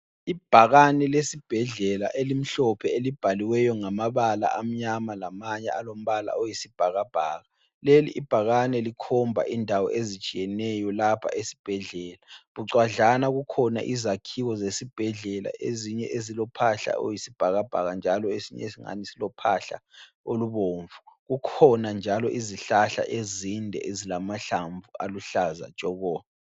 Ibhakane lesibhedlela elimhlophe elibhaliweyo ngamabala amnyama lamanye alombala oyisibhakabhaka. Leli ibhakane likhomba indawo ezitshiyeneyo lapha esibhedlela, bucwadlana kukhona izakhiwo zesibhedlela ezinye ezilophahla oluyisibhakabhaka njalo esinye singani silophahla olubomvu kukhona njalo izihlahla ezinde ezilamahlamvu aluhlaza tshoko.